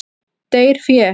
Deyr fé.